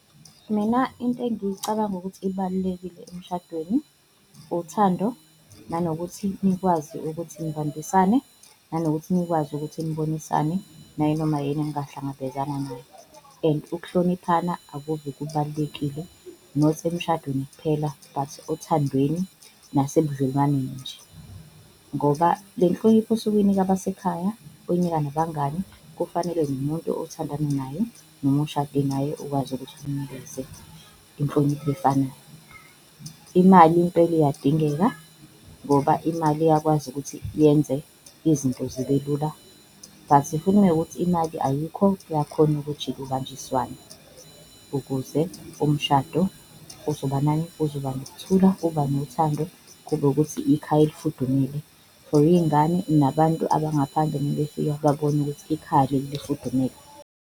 Mina into engiyicabanga ukuthi ibalulekile emshadweni uthando nanokuthi nikwazi ukuthi nibambisane, nanokuthi nikwazi ukuthi nibonisane nayinoma yini engahlangabezana nayo. And ukuhloniphana akuve kubalulekile not emshadweni kuphela but othandweni nasebudlelwaneni nje ngoba le nhlonipho osuke uyinika abasekhaya, uyinika nabangani kufanele nomuntu othandana naye noma oshade naye ukwazi ukuthi umnikeze inhlonipho efanayo. Imali impela iyadingeka ngoba imali iyakwazi ukuthi yenze izinto zibe lula, but ukunokuthi imali ayikho kuyakhona ukujika ibanjiswane, ukuze umshado uzoba nani? Uzoba nokuthula, uba nothando kube ukuthi ikhaya elifudumele for iy'ngane nabantu abangaphandle mebefika babone ukuthi ikhaya leli lifudumele.